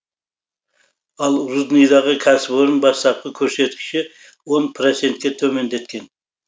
ал рудныйдағы кәсіпорын бастапқы көрсеткіші он процентке төмендеткен